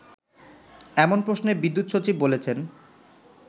এমন প্রশ্নে বিদ্যুৎ সচিব বলেছেন